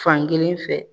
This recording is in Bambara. Fankelen fɛ